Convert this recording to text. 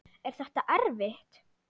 Er þetta erfitt?